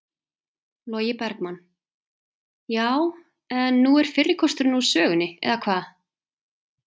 Logi Bergmann: Já, en nú er fyrri kosturinn úr sögunni eða hvað?